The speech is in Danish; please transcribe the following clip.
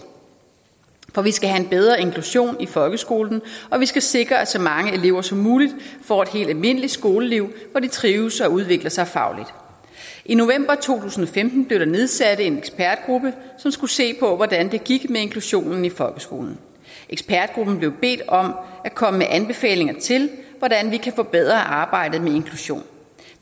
for vi skal have en bedre inklusion i folkeskolen og vi skal sikre at så mange elever som muligt får et helt almindeligt skoleliv og trives og udvikler sig fagligt i november to tusind og femten blev der nedsat en ekspertgruppe som skulle se på hvordan det gik med inklusionen i folkeskolen ekspertgruppen blev bedt om at komme med anbefalinger til hvordan vi kan forbedre arbejdet med inklusion